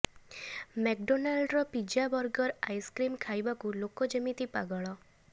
ମେଗଡୋନଲ୍ଡର pizza burger ice cream ଖାଇବାକୁ ଲୋକ ଯେମିତି ପାଗଳ